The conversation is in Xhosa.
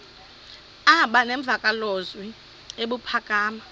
aba nemvakalozwi ebuphakama